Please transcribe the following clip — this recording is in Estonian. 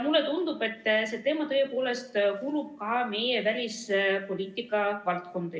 Mulle tundub, et see teema tõepoolest kuulub juba ka meie välispoliitika valdkonda.